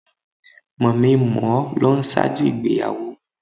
Mòminmòó ló n ṣáájú ìgbéyàwó